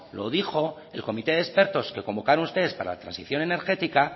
lo dijo el comité de expertos que convocaron ustedes para la transición energética